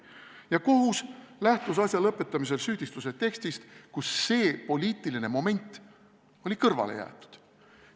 Ja kohus lähtus asja lõpetamisel süüdistuse tekstist, kus see poliitiline moment oli kõrvale jäetud.